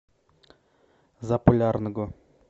заполярного